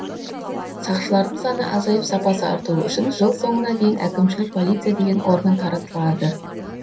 сақшылардың саны азайып сапасы артуы үшін жыл соңына дейін әкімшілік полиция деген орган таратылады